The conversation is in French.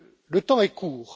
Le temps est court.